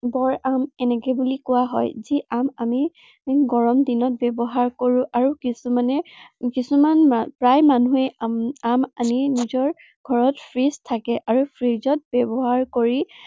আম এনেকে বুলি কোৱা হয়। যি আম আমি গৰম দিনত ব্য়ৱহাৰ কৰো আৰু কিছুমানে, কিছুমান প্ৰায় মানুহেই উম আম আনি নিজৰ ঘৰত freeze থাকে আৰু freeze ত ব্য়ৱহাৰ কৰি